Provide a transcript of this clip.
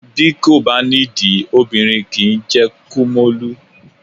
Bí kò bá nídìí, obìnrin kì í jẹ́ kúmólú.